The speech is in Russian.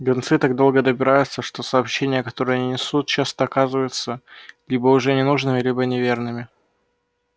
гонцы так долго добираются что сообщения которые они несут часто оказываются либо уже ненужными либо неверными